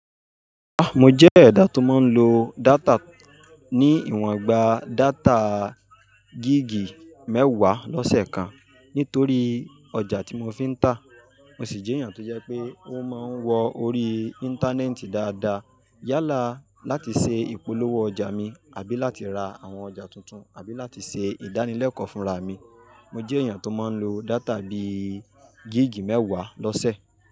Ah! Mo jẹ́ ẹ̀dá tó máa ń lo data ní ìwòn gba data gig mẹ́wàá lọ́sẹ̀ kan nítorí ọjà tí mo fi ń tà. Mo sì jẹ́ èèyàn tó jẹ́ pé ó máa ń wọ orí Íńtánẹ́ẹ̀tì dáadáa. Yálà láti ṣe ìpolówó ọjà mi àbí láti ra àwọn ọjà tuntun àbí láti ṣe ìdánilẹ́kọ̀ọ́ fúnra mi. Mo jẹ́ èèyàn tó máa ń lo data bí i gig mẹ́wàá lọ́sẹ̀.